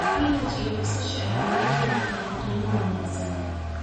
Spinach iyo basasha ayaa lagu heli karaa qiimo wanaagsan.